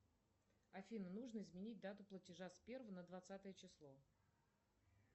афина нужно изменить дату платежа с первого на двадцатое число